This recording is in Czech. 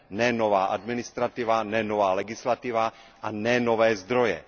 Ne nová administrativa, ne nová legislativa a ne nové zdroje.